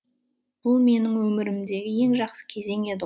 бұл менің өмірімдегі ең жақсы кезең еді